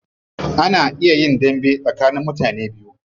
Ana iya yin dambe tsakanin mutane biyu.